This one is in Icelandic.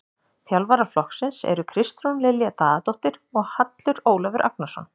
Þjálfara flokksins eru Kristrún Lilja Daðadóttir og Hallur Ólafur Agnarsson.